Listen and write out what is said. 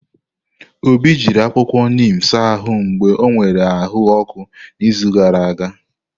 Obi jiri akwụkwọ neem saa ahụ mgbe ọ nwere ahụ ọkụ n'izu gara aga.